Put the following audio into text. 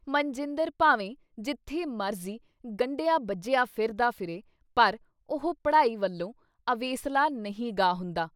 ਮਨਜਿੰਦਰ ਭਾਵੇਂ ਜਿੱਥੇ ਮਰਜ਼ੀ ਗੰਢਿਆ ਬੱਝਿਆ ਫਿਰਦਾ ਫਿਰੇ ਪਰ ਉਹ ਪੜ੍ਹਾਈ ਵਲੋਂ ਅਵੇਸਲਾ ਨਹੀਂ ਗਾ ਹੁੰਦਾ।